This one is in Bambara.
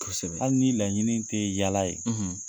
Kosɛbɛ, hali ni laɲini tɛ yaala ye.